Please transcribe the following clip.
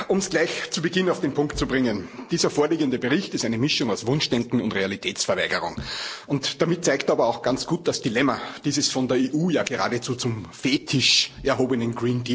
Um es gleich zu Beginn auf den Punkt zu bringen Dieser vorliegende Bericht ist eine Mischung aus Wunschdenken und Realitätsverweigerung. Damit zeigt er aber auch ganz gut das Dilemma dieses von der EU ja geradezu zum Fetisch erhobenen